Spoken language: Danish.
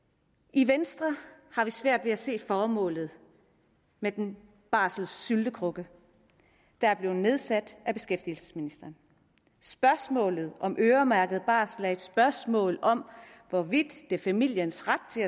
i venstre har vi svært ved at se formålet med den barselssyltekrukke der er blevet nedsat af beskæftigelsesministeren spørgsmålet om øremærket barsel er et spørgsmål om hvorvidt det er familiens ret